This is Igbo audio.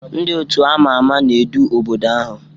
Ndị otu a ma ama na-edu obodo ahụ